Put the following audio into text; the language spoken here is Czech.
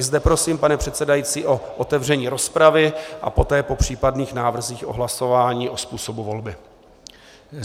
I zde prosím, pane předsedající, o otevření rozpravy a poté po případných návrzích o hlasování o způsobu volby.